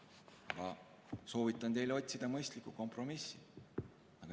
Ma soovitan teil otsida mõistlikku kompromissi.